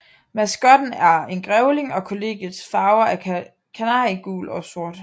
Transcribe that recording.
Maskotten er en grævling og kollegiets farver er kanariegul og sort